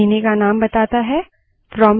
यह महीने का name बताता है